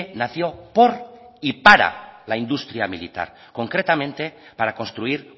nació por y para la industria militar concretamente para construir